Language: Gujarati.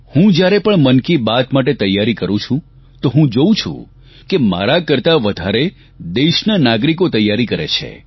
હું જ્યારે પણ મન કી બાત માટે તૈયારી કરૂં છું તો હું જોઉં છું કે મારા કરતાં વધારે દેશના નાગરિકો તૈયારી કરે છે